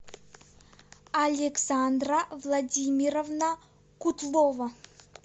александра владимировна кутлова